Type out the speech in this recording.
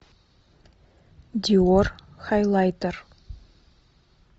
диор хайлайтер